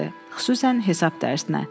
Xüsusən hesab dərsinə.